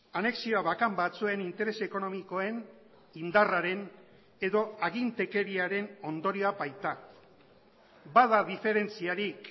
anexioa bakan batzuen interes ekonomikoen indarraren edo agintekeriaren ondorioa baita bada diferentziarik